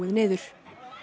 niður